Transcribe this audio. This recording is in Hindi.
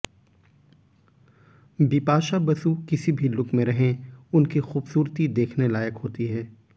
बिपाशा बसु किसी भी लुक में रहे उनकी खूबसूरती देखने लायक होती है